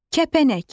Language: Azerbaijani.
Kəpənək.